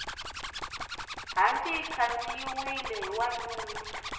hanci yi khandziyiwile hi wanuna